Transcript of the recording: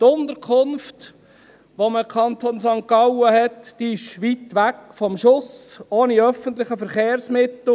Die Unterkunft, die man im Kanton St. Gallen hat, ist weit ab vom Schuss, ohne öffentliche Verkehrsmittel.